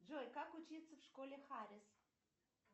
джой как учиться в школе харрис